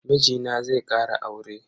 Mijina zai kara aure.